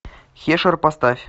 хешер поставь